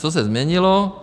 Co se změnilo?